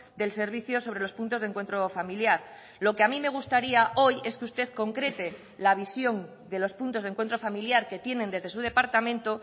del servicio sobre los puntos de encuentro familiar lo que a mí me gustaría hoy es que usted concrete la visión de los puntos de encuentro familiar que tienen desde su departamento